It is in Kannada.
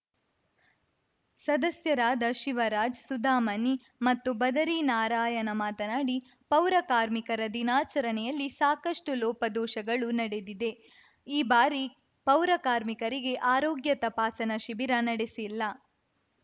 ಸದಸ್ಯರಾದ ಶಿವರಾಜ್‌ ಸುಧಾಮಣಿ ಮತ್ತು ಬದರಿನಾರಾಯಣ ಮಾತನಾಡಿ ಪೌರ ಕಾರ್ಮಿಕರ ದಿನಾಚರಣೆಯಲ್ಲಿ ಸಾಕಷ್ಟುಲೋಪದೋಷಗಳು ನಡೆದಿದೆ ಈ ಬಾರಿ ಪೌರಕಾರ್ಮಿಕರಿಗೆ ಆರೋಗ್ಯ ತಪಾಸಣಾ ಶಿಬಿರ ನಡೆಸಿಲ್ಲ